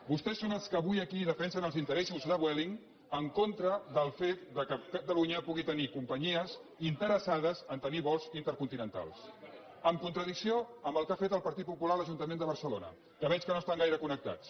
vostès són els que avui aquí defensen els interessos de vue·ling en contra del fet que catalunya pugui tenir com·panyies interessades a tenir vols intercontinentals en contradicció amb el que ha fet el partit popular a l’ajun·tament de barcelona que veig que no hi estan gaire con·nectats